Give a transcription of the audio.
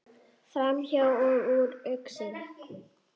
Framhjá og úr augsýn.